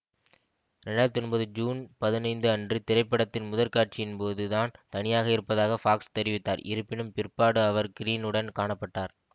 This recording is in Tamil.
இரண்டு ஆயிரத்தி ஒன்பது ஜூன் பதினைந்து அன்று திரைப்படத்தின் முதற்காட்சியின்போது தான் தனியாக இருப்பதாக ஃபாக்ஸ் தெரிவித்தார் இருப்பினும் பிற்பாடு அவர் க்ரீனுடன் காண பட்டார்